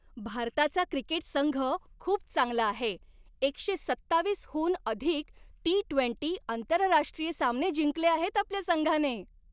भारताचा क्रिकेट संघ खूप चांगला आहे. एकशे सत्ताव्वीसहून अधिक टी ट्वेंटी आंतरराष्ट्रीय सामने जिंकले आहेत आपल्या संघाने.